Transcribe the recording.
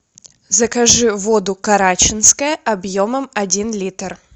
закажи воду карачинская объемом один литр